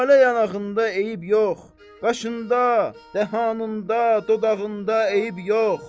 Lalə yanağında eyib yox, qaşında, dəhanında, dodağında eyib yox.